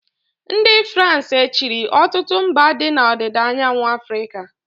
ndị Farans e chịrị ọtụtụ mba dị na ọdịda anyanwụ Afrịka